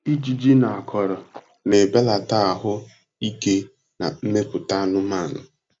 Ijiji na akọrọ na-ebelata ahụ ike na mmepụta anụmanụ.